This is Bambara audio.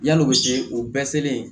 Yalo o bɛɛ selen